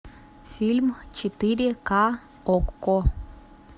фильм четыре ка окко